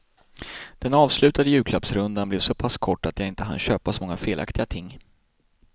Den avslutande julklappsrundan blev såpass kort att jag inte hann köpa så många felaktiga ting.